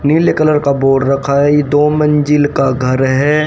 नीले कलर का बोर्ड रखा है। ये दो मंजिल का घर है।